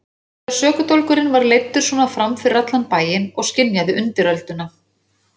Þegar sökudólgurinn væri leiddur svona fram fyrir allan bæinn og skynjaði undirölduna.